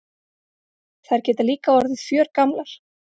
Þær geta líka orðið fjörgamlar.